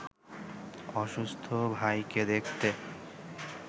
অসুস্থ ভাইকে দেখতে